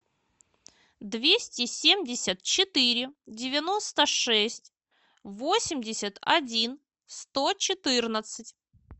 двести семьдесят четыре девяносто шесть восемьдесят один сто четырнадцать